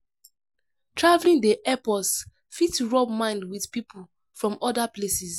Travelling dey help us fit rub mind with pipo from other places